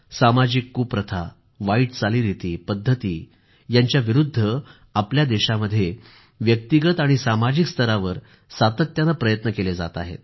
सामाजिक कुप्रथा आणि वाईट चालीरिती पद्धती यांच्या विरूद्ध आपल्या देशामध्ये व्यक्तिगत आणि सामाजिक स्तरावर सातत्याने प्रयत्न केले जात आहेत